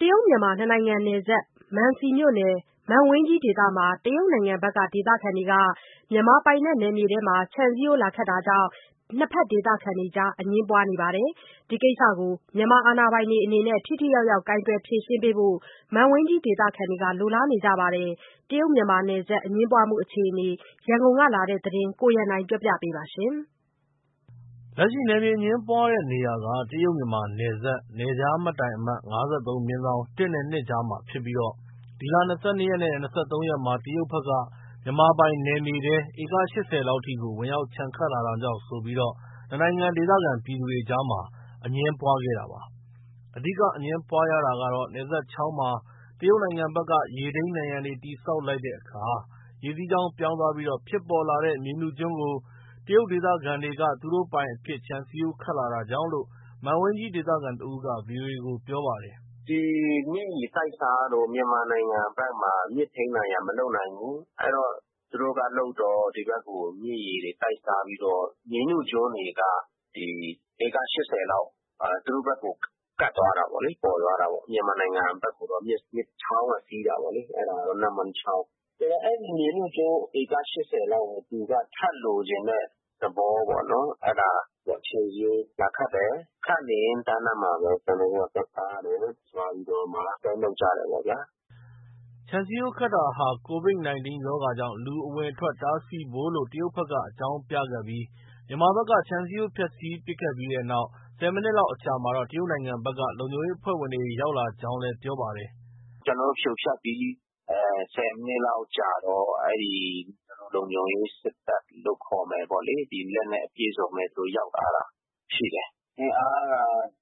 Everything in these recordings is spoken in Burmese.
တရုတ်-မြန်မာနယ်စပ်၊ မံစီမြို့နယ်၊ မန့်ဝိန်းကြီးဒေသမှာ တရုတ်နိုင်ငံဘက် ဒေသခံတွေက မြန်မာပိုင်နယ်မြေအတွင်း ခြံစည်းရိုးခတ်လာတာကြောင့် နှစ်ဘက်ဒေသခံတေကြား အငြင်းပွားနေပါတယ်။ ဒီကိစ္စကို မြန်မာအာဏာပိုင်တွေအနေနဲ့ ထိထိရောက်ရောက် ကိုင်တွယ်ဖြေရှင်းပေးဖို့ မန့်ဝိန်းကြီဒေသခံတွေက လိုလားနေကြပါတယ်။ တရုတ်-မြန်မာနယ်စပ် အငြင်းပွားမှုအခြေအနေ ရန်ကုန်ကလာတဲ့သတင်းကို ကိုရန်နိုင်က ပြောပြပါမယ်။ လက်ရှိ နယ်မြေအငြင်းပွားတဲ့နေရာက တရုတ်-မြန်မာနယ်စပ် နယ်ခြားမှတ်တိုင်အမှတ် ၅၃/ ၁ နဲ့ ၂ ကြားမှာ ဖြစ်ပြီး ဒီလ ၂၂ ရက်နဲ့ ၂၃ ရက်မှာ တရုတ်ဘက်က မြန်မာပိုင်နယ်မြေထဲ ဧက ၈၀ လောက်ထိကို ဝင်ရောက်ခြံခတ်လာတာကြောင့်ဆိုပြီး နှစ်နိုင်ငံ ဒေသခံပြည်သူတွေအကြား အငြင်းပွားခဲ့တာပါ။ အဓိက အငြင်းပွားရတာကတော့ နယ်စပ်ချောင်းမှာ တရုတ်နိုင်ငံဘက်က ရေထိန်းနံရံတွေ တည်ဆောက်လိုက်တဲ့အခါ ရေစီးကြောင်းပြောင်းသွားပြီး ဖြစ်ပေါ်လာတဲ့ မြေနုကျွန်းတွေကို တရုတ်ဒေသခံတွေက သူတို့ပိုင်အဖြစ် ခြံစည်းရိုးခတ်လာတာကြောင့်လို့ မန်ဝိန်းကြီးဒေသခံတဦးက VOA ကို ပြောပါတယ်။ “ဒီမြစ်ရေတိုက်စားတော့ မြန်မာနိုင်ငံဘက်မှာ မြစ်ထိန်းနံရံမလုပ်နိုင်ဘူး။ သူတို့ကလုပ်တော့ ဒီဘက်ကို မြစ်ရေတိုက်စားပြီး မြေနုကျွန်းတွေက ဧက ၈၀ လောက် သူတို့ဘက်ကို ကပ်သွားတာပေါ့လေ။ ပေါ်သွားတာပေါ့။ မြန်မာနိုင်ငံဘက်ကိုတော့ ချောင်းက စီးတာပေါ့လေ။ အဲဒါ နမ့်မွန်းချောင်း၊ ဆိုတော့ အဲဒီမြေနုကျွန်းဧက ၈၀ လောက်ကို သူက ထပ်လိုချင်တဲ့ သဘောပေါ့နော်။ အဲဒါ ခြံစည်းရိုးလာခတ်တယ်။ ခတ်နေရင်းတန်းလန်းမှာပဲ ကျနော်တို့က သွားတားတယ်။ သွားပြီးတော့မှ ဆွဲနုတ်ကြတယ်ပေါ့ဗျာ။” ခြံစည်းရိုးခတ်တာဟာ COVID ရောဂါကြောင့် လူအဝင်အထွက် တားဆီးဖို့လို့ တရုတ်ဘက်က အကြောင်းပြခဲ့ပြီး မြန်မာဘက်က ခြံစည်းရိုး ဖျက်ဆီးပစ်ခဲ့ပြီးတဲ့နောက် ၁၀ မိနစ်လောက်အကြာမှာ တရုတ်နိုင်ငံဘက်က လုံခြုံရေးအဖွဲ့ဝင်တွေ ရောက်လာကြောင်းလည်းပြောပါတယ်။ “ကျနော်တို့ ဖြိုဖျက်ပြီး ၁၀ မိနစ်လောက်ကြာတော့ အဲဒီ လုံခြုံရေး စစ်တပ်ခေါ်မယ်ပေါ့ သူတို့ လက်နက်အပြည့်အစုံနဲ့ ရောက်လာတာရှိတယ်။ အင်အားက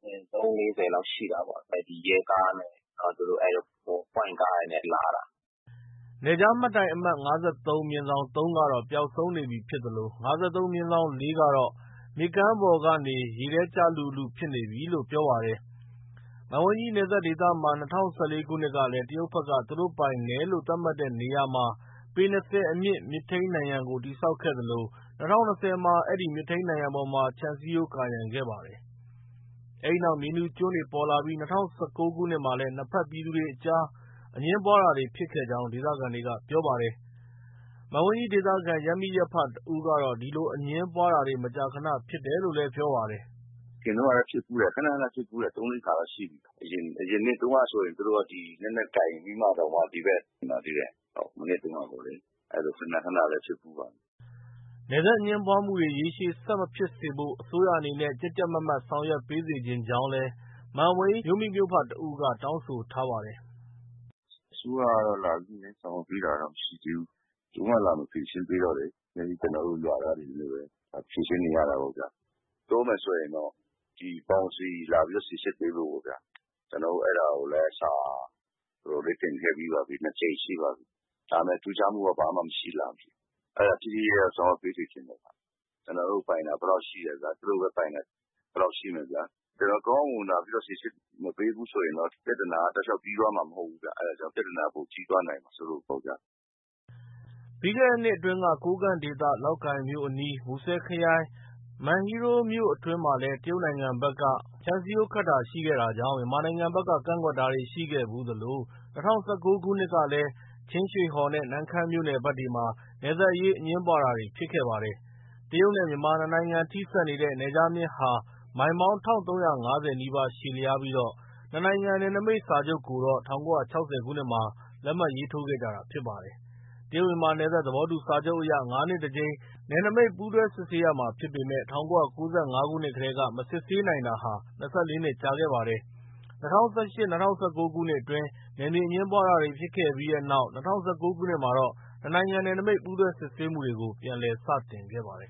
၃- ၄၀ လောက်ရှိတာပေါ့။ အဲဒီ ရဲကားနဲ့ ပွိုင့်ကားတွေနဲ့ လာတာ။” နယ်ခြားမှတ်တိုင်အမှတ် ၅၃/ ၃ ကတော့ ပျောက်ဆုံးနေပြီဖြစ်သလို ၅၃/၄ ကတော့ မြစ်ကမ်းပေါ်ကနေ ရေထဲ ကျလုလုဖြစ်နေပြီလို့ ပြောပါတယ်။ မန့်ဝိန်းကြီးနယ်စပ်ဒေသမှာ ၂၀၁၄ ခုနှစ်ကလည်း တရုတ်ဘက်က သူတို့ပိုင်နယ်လို့ သတ်မှတ်တဲ့နေရာမှာ ပေ ၂၀ အမြင့် မြစ်ထိန်းနံရံကို တည်ဆောက်ခဲ့သလို ၂၀၂၀ မှာ အဲဒီမြစ်ထိန်းနံရံပေါ်မှာ ခြံစည်းရိုး ကာရံခဲ့ပါတယ်။ အဲဒီနောက်မြေနုကျွန်းတွေ ပေါ်လာပြီး ၂၀၁၉ မှာလည်း နှစ်ဘက် ပြည်သူတွေအကြား အငြင်းပွားတာတွေ ဖြစ်ခဲ့ကြောင်းဒေသခံတွေက ပြောပါတယ်။ မန့်ဝိန်းဒေသခံ ရပ်မိရပ်ဖတဦးက ဒီလို အငြင်းပွားတာတွေ မကြာခနဖြစ်တယ်လို့ ပြောပါတယ်။ “အရင်တုံးကလည်း ဖြစ်ဖူးတယ်။ ခန ခန ဖြစ်ဖူးတယ်။ ၃- ၄ ခါတော့ ရှိပြီ။ အရင်နှစ်တုံးကဆိုရင် သူတို့က လက်နက်ကိုင်ပြီးတော့တောင်မှ ဒီဘက် ဝင်လာသေးတယ်။ မနှစ်တုံးကပေါ့လေ။ အဲလို ခန ခနလည်း ဖြစ်ဖူးပါတယ်။” နယ်စပ်အငြင်းပွားမှုတွေ ရေရှည်ဆက်မဖြစ်စေဖို့ အစိုးရအနေနဲ့ ကြပ်ကြပ်မတ်မတ်ဆောင်ရွက် ပေးစေချင် ကြောင်းလည်း မန့်ဝိန် းမြို့မိမြို့ဖတဦးက တောင်းဆိုထားပါတယ်။ “အစိုးရကတော့ လာပြီးဆောင်ရွက်ပေးတာတော့ မရှိသေးဘူး။ ဘယ်သူမှ လာမရှင်းပေးတော့ ကျနော်တို့ ရွာသားတွေနဲ့ပဲ ဖြေရှင်းနေရတာပေ့ါ။ ပြောမယ်ဆိုရင်တော့ ဒီ Boundary လာပြီး စိစစ်ပေးဖို့ပေါ့ဗျာ။ ကျနော်တို့ အဲဒါကိုလည်း စာတော်တော်လေး တင်ခဲ့ပြီးပါပြီ။ ၂ ကြိမ်ရှိပါပြီ။ ဒါပေမဲ့ ထူးခြားမှုက ဘာမှ မရှိလာဘူး။ အဲဒါ ထိထိရောက်ရောက် ဆောင်ရွက်ပေးစေချင်တယ်။ ကျနော်တို့ပိုင်တာ ဘယ်လောက်ရှိမယ်ဗျာ။ သူတို့ ပိုင်တာ ဘယ်လောက်ရှိမယ်ဗျာ။ ကျနော်တို့ ကောင်းကောင်းမွန်မွန် လာပြီးတော့ စိစစ် မပေးဘူးဆိုရင်တော့ ပြဿနာက တောက်လျောက် ပြီးသွားမှာ မဟုတ်ဘူးဗျ။ အဲဒါကြောင့် ပြဿနာ ပိုကြီးသွားမှာစိုးလို့ ပေါ့ဗျာ။” ပြီးခဲ့နှစ်အတွင်းက ကိုးကန့်ဒေသ လောက်ကိုင်မြို့အနီး မူဆယ်ခရိုင်၊ မန်ဟီးရိုးမြို့နယ်အတွင်းမှာ တရုတ်နိုင်ငံဘက်က ခြံစည်းရိုးခတ်တာရှိခဲ့တာကြောင့် မြန်မာနိုင်ငံဘက်က ကန့်ကွက်တာတွေ ရှိခဲ့ဖူးသလို ၂၀၁၉ ခုနှစ်ကလည်း ချင်းရွှေဟော်နဲ့ နမ့်ခမ်းမြို့နယ်ဘက်တွေမှာ နယ်စပ်အရေး အငြင်းပွားတာတွေ ဖြစ်ခဲ့ပါတယ်။ တရုတ်နဲ့ မြန်မာ နှစ်နိုင်ငံထိစပ်နေတဲ့ နယ်ခြားမျဉ်းဟာ မိုင်ပေါင်း ၁,၃၅၀ နီးပါး ရှည်လျားပြီး နှစ်နိုင်ငံ နယ်နိမိတ်စာချုပ်ကိုတော့ ၁၉၆၀ ခုနှစ်မှာ လက်မှတ် ရေးထိုးခဲ့ကြတာဖြစ်ပါတယ်။ တရုတ်-မြန်မာ နယ်စပ်သဘောတူစာချုပ်အရ ၅ နှစ်တကြိမ် နယ်နိမိတ် ပူးတွဲစစ်ဆေးရမှာဖြစ်ပေမဲ့ ၁၉၉၅ ကတည်းက မစစ်ဆေးနိုင်တာ ၂၄ နှစ် ကြာခဲ့ပါတယ်။ ၂၀၁၈ -၂၀၁၉ ခုနှစ်တွေအတွင်း နယ်မြေအငြင်းပွားတာတွေ ဖြစ်ခဲ့ပြီးတဲ့နောက် ၂၀၁၉ ခုနှစ်မှာ နှစ်နိုင်ငံ နယ်နိမိတ်ပူးတွဲစစ်ဆေးမှုတွေ ပြန်လည် စတင်ခဲ့ပါတယ်